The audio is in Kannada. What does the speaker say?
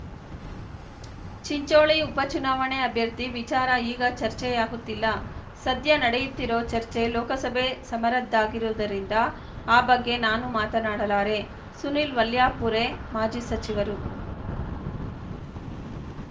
ಚಿಂಚೋಳಿ ಉಪ ಚುನಾವಣೆ ಅಭ್ಯರ್ಥಿ ವಿಚಾರ ಈಗ ಚರ್ಚೆಯಾಗುತ್ತಿಲ್ಲ ಸದ್ಯ ನಡೆಯುತ್ತಿರೋ ಚರ್ಚೆ ಲೋಕಸಭೆ ಸಮರದ್ದಾಗಿರುವುದರಿಂದ ಆ ಬಗ್ಗೆ ನಾನು ಮಾತನಾಡಲಾರೆ ಸುನೀಲ್‌ ವಲ್ಯಾಪೂರೆ ಮಾಜಿ ಸಚಿವರು